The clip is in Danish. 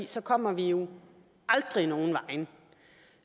så kommer vi jo aldrig nogen vegne